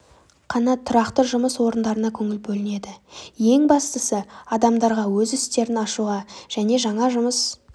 қана тұрақты жұмыс орындарына көңіл бөлінеді ең бастысы адамдарға өз істерін ашуға және жаңа жұмыс